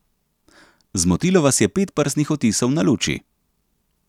Zmotilo vas je pet prstnih odtisov na luči.